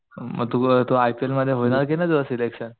मग तू अ तू आय पी एल मध्ये तू होणार कि नाही तुझं सिलेक्शन